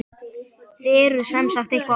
Þið eruð semsagt eitthvað ósáttir?